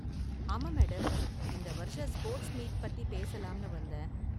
ஆமா மேடம், இந்த வருஷ ஸ்போர்ட்ஸ் மீட் பத்தி பேசலாம்னு வந்தேன்.